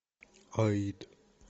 аид